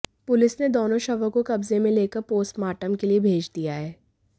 police ने दोनों शवों को कब्जे में लेकर पोस्टमार्टम के लिये भेज दिया है